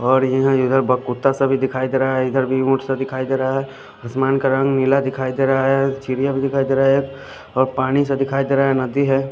और यह इधर कुत्ता सा भी दिखाई देरा है इधर भही उट सा दिखाई देरा है आसमान का रंग नीला दिखाई देरा है एक चिड़िया सा भी दिखाई देरा है एक और पाणी सा दिखाई देरा है एक नदी है।